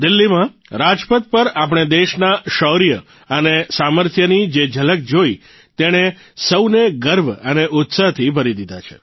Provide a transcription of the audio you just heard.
દિલ્હીમાં રાજપથ પર આપણે દેશના શૌર્ય અને સામર્થ્યની જે ઝલક જોઇ તેણે સૌને ગર્વ અને ઉત્સાહથી ભરી દીધા છે